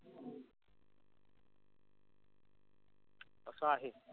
अस आहे.